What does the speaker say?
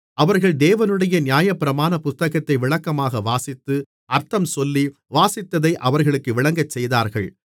அவர்கள் தேவனுடைய நியாயப்பிரமாணப் புத்தகத்தை விளக்கமாக வாசித்து அர்த்தம்சொல்லி வாசித்ததை அவர்களுக்கு விளங்கச்செய்தார்கள்